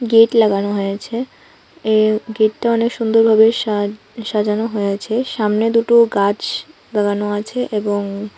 gate লাগানো হয়েছে এই গেটটা অনেক সুন্দরভাবে সাজ সাজানো হয়েছে সামনে দুটো গাছ লাগানো আছে এবং--